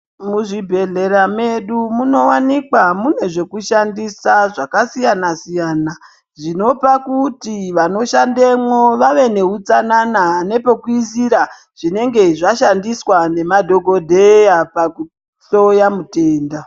Muzvibhedhlera medu munowanikwa zvinhu zvakasiyana siyana zvinopa kuti vantu vanoshandemwo vave nehutsanana nepekuisira zvinenge zvashandiswa nema dhokodheya pakuhloya mutenda